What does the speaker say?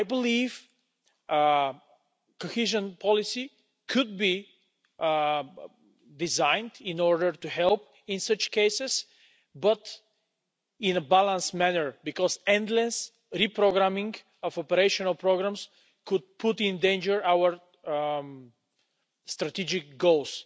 I believe Cohesion Policy could be designed in order to help in such cases but in a balanced manner, because endless reprogramming of operational programmes could put in danger our strategic goals.